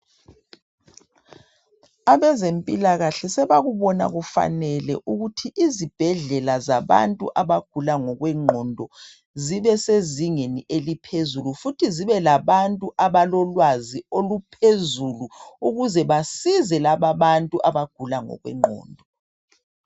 Abezempilakahle sebakubona kufanele ukuthi izibhendlela zabantu abagula ngokwegqondo zibe sezingeni eliphezulu futhi zibe labantu abalolwazi oluphezulu ukuze basize lababantu abagula ngokwegqondo.